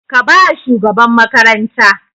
Ka ba wa shugaban makaranta!